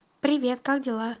привет как дела